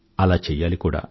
అలా చెయ్యాలి కూడా